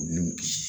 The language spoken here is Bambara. U ni